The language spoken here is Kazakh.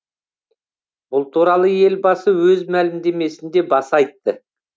бұл туралы елбасы өз мәлімдемесінде баса айтты